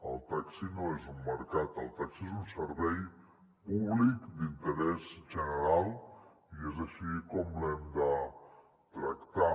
el taxi no és un mercat el taxi és un servei públic d’interès general i és així com l’hem de tractar